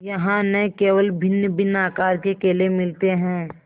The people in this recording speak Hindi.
यहाँ न केवल भिन्नभिन्न आकार के केले मिलते हैं